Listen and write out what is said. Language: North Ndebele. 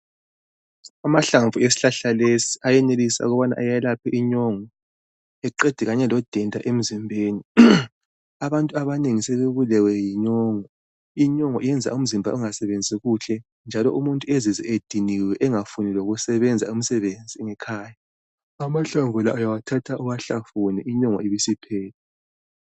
amahlamvu esihlahla lesi ayenelisa ukubana ayelaphe inyongo eqede kanye lodenda emzimbeni abantu abanengi sebebulewe yinyongo inyongo iyenza umzimba ungasebenzi kuhle njalo umuntu ezizwe ediniwe engafuni lokusebenza umsebenzi ngekhaya amahamvu la uyawathatha uwahlafune inyongo ibisi phela